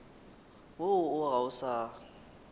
woo o ga o sa